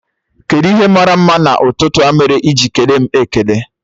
kedụ ihe màrà mma n'ututu a mere iji ekele m ekele?